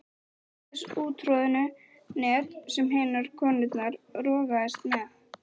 Ekki þessi úttroðnu net sem hinar konurnar rogast með.